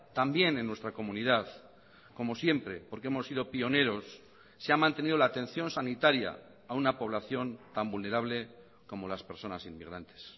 también en nuestra comunidad como siempre porque hemos sido pioneros se ha mantenido la atención sanitaria a una población tan vulnerable como las personas inmigrantes